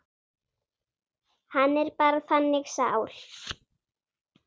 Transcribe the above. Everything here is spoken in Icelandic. Hann er bara þannig sál.